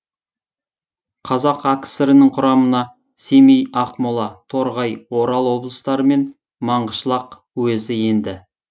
қазақ акср нің құрамына семей ақмола торғай орал облыстары мен маңғышлақ уезі енді